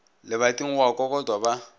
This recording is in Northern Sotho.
lebating go a kokotwa ba